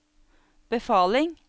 befaling